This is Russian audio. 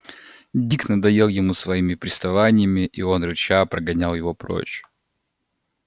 дик надоел ему своими приставаниями и он рыча прогонял его прочь